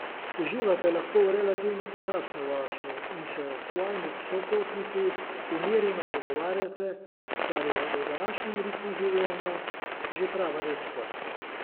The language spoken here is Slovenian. Uživate lahko v relativno počasni vožnji in se s svojimi sopotniki umirjeno pogovarjate, kar je v današnjem ritmu življenja že prava redkost.